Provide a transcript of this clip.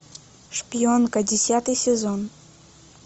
шпионка десятый сезон